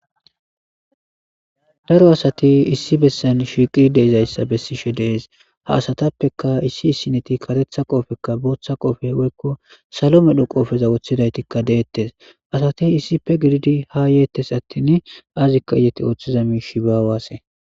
daro asati issi bessan shiiqi deeizayssa bessishe dees ha asatappeka issi issineti katetha qofekka booththa qofe woykko salo medho qoofeza woththidaytikka deettes asati issife gididi ha yeettes attin azikka iyati ooththiza miishi baawaasse